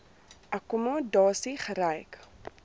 akkommo dasie gekry